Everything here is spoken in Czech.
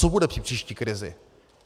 Co bude při příští krizi?